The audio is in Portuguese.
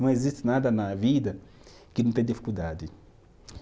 Não existe nada na vida que não tenha dificuldade.